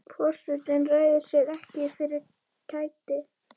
Forsetinn ræður sér ekki fyrir kæti.